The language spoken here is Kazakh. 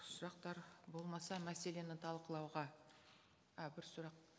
сұрақтар болмаса мәселені талқылауға ә бір сұрақ